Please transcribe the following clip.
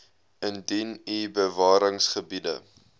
indien u bewaringsgebiede